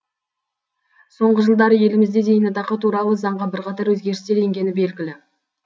соңғы жылдары елімізде зейнетақы туралы заңға бірқатар өзгерістер енгені белгілі